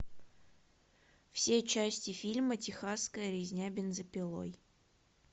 все части фильма техасская резня бензопилой